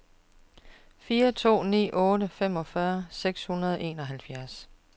fire to ni otte femogfyrre seks hundrede og enoghalvfjerds